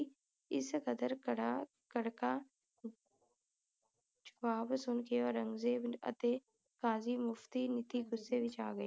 ਇਸ ਕਦਰ ਕੜ੍ਹਾ ਕੜ੍ਹਕਾ ਜਬਾਬ ਸੁਨ ਕੇ ਔਰੰਗਜੇਬ ਅਤੇ ਕਾਜੀ ਮੁਫਤੀ ਮਿਤੀ ਗੁੱਸੇ ਵਿਚ ਆ ਗਏ